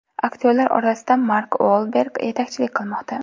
Aktyorlar orasida Mark Uolberg yetakchilik qilmoqda.